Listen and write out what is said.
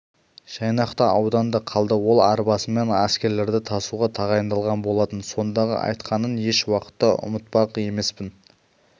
жайнақ та ауданда қалды ол арбасымен әскерлерді тасуға тағайындалған болатын сондағы айтқанын еш уақытта ұмытпақ емеспін